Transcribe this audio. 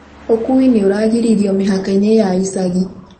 Ũkui nĩ ũragiririo mĩhaka-inĩ ya icagi